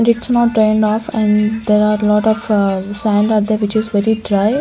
It's not drained off and there are lot of a sand are there which is very dry.